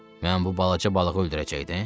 Mən bu balaca balığı öldürəcəydim?